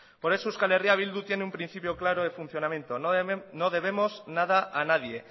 por eso euskal herria bildu tiene un principio claro de funcionamiento no debemos nada a nadie